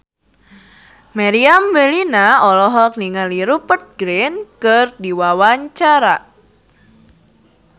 Meriam Bellina olohok ningali Rupert Grin keur diwawancara